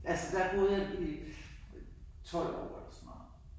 Altså der boede jeg i 12 år eller sådan noget